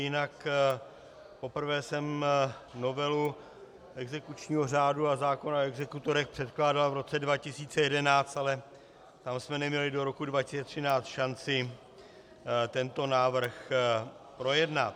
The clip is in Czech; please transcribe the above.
Jinak poprvé jsem novelu exekučního řádu a zákona o exekutorech předkládal v roce 2011, ale tam jsme neměli do roku 2013 šanci tento návrh projednat.